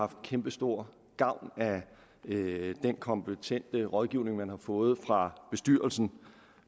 haft kæmpestor gavn af den kompetente rådgivning man har fået fra bestyrelsen